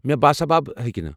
مےٚ باسابب ہیٚکہٕ نہٕ۔